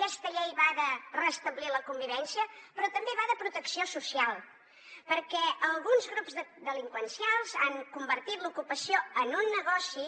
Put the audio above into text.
aquesta llei va de restablir la convivència però també va de protecció social perquè alguns grups delinqüencials han convertit l’ocupació en un negoci